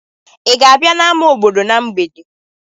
Ị ga-abịa n'ámá obodo na mgbede?